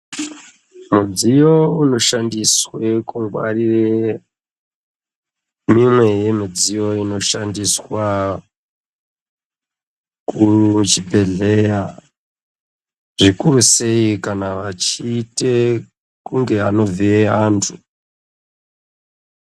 Mudziyo unoshandiswa kungwarire mimwe yemidziyo inoshandiswe kuchibhedhleya zvikuru sei kana vachiite kunge anovhiye vlantu.